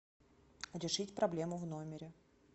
решить проблему в номере